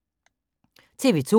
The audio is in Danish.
TV 2